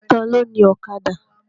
Ta ló ni Ọ̀kadà?